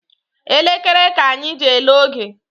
Elekere ka anyị ji ele oge